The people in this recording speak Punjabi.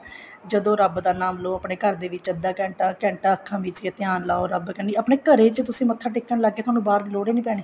ਜਦੋਂ ਰੱਬ ਦਾ ਨਾਮ ਲੋ ਆਪਣੇ ਘਰ ਦੇ ਵਿੱਚ ਅੱਧਾ ਘੰਟਾ ਘੰਟਾ ਅੱਖਾ ਮਿਚ ਕੇ ਧਿਆਨ ਲਾਉ ਰੱਬ ਕੰਨੀ ਆਪਣੇ ਘਰੇ ਚ ਤੁਸੀਂ ਮੱਥਾ ਟੇਕਣ ਲੱਗ ਗਏ ਤੁਹਾਨੂੰ ਬਾਹਰ ਦੀ ਲੋੜ ਹੀ ਨੀ ਪੈਣੀ